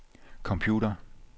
computer